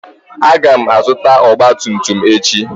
Aga m azụta ọgba tum tum echi.